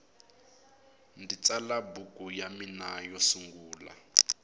ndzi tsala buku ya mina yo sungula